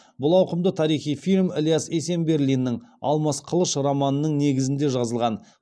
бұл ауқымды тарихи фильм ілияс есенберлиннің алмас қылыш романының негізінде жазылған